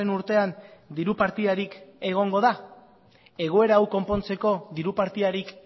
urtean diru partidarik egongo da egoera hau konpontzeko diru partidarik